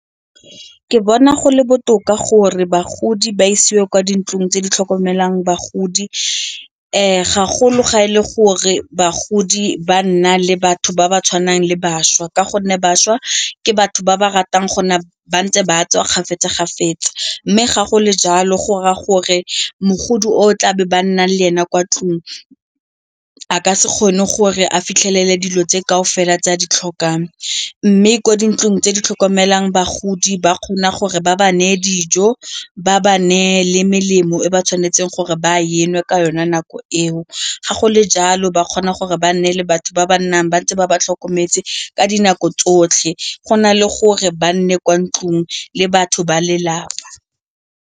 Ke bona go le botoka gore bagodi ba isiwe kwa dintlong tse di tlhokomelang bagodi ga golo ga e le gore bagodi ba nna le batho ba ba tshwanang le bašwa ka gonne bašwa batho ba ba ratang gone ba ntse ba tswa kgafetsa-kgafetsa mme ga go le jalo gore a gore mogodi o tlabe ba nnang le ena kwa ntlong a ka se kgone gore a fitlhelele dilo tse kaofela tse a ditlhokang. Mme kwa dintlong tse di tlhokomelang bagodi ba kgona gore ba ba neye dijo, ba ba neye le melemo e ba tshwanetseng gore ba e nwe ka yone nako eo, ga go le jalo ba kgona gore ba nne le batho ba ba nnang ba ntse ba ba tlhokometse ka dinako tsotlhe go na le gore ba nne kwa ntlong le batho ba lelapa.